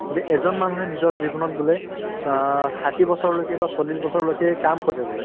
যে এজন মানুহে নিজৰ জীৱনত বোলে চা ষাঠি বছৰলৈকে বা চল্লিশ বছৰলৈকে কাম কৰে বোলে